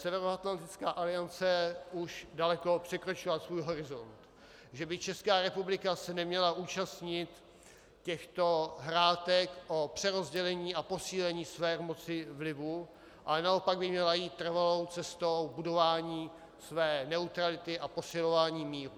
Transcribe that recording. Severoatlantická aliance už daleko překročila svůj horizont, že by Česká republika se neměla účastnit těchto hrátek o přerozdělení a posílení své moci vlivu, ale naopak by měla jít trvalou cestou budování své neutrality a posilování míru.